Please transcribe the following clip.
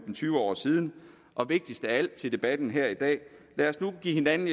tyve år siden og vigtigst af alt til debatten her i dag lad os nu give hinanden